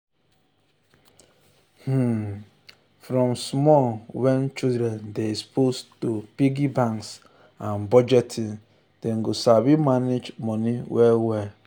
um from small wen um children dey exposed to piggy banks and budgeting dem go sabi manage moni well.